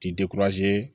Ti